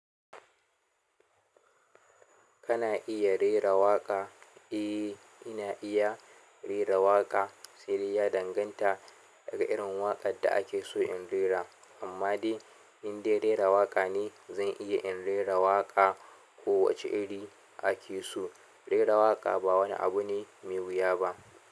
Kana iya rera waƙa? Eh ina iya rera waƙa, siri ya danganta daga irin waƙar da ake so in rera, amma dai in dai rera waƙa ne zan iya in rera waƙa. Ko wace iri ake so, rera waƙa ba wani abu ne mai wuya ba.